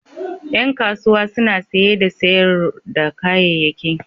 Ƴan kasuwa suna saye da sayar da kayayyaki.